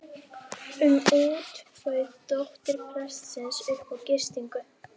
um út bauð dóttir prestsins upp á gistingu.